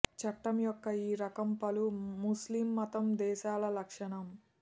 చట్టం యొక్క ఈ రకం పలు ముస్లిం మతం దేశాల లక్షణం